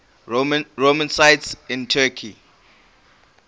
roman sites in turkey